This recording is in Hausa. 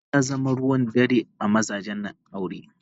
Zina ta zama ruwan dare a mazajen aure.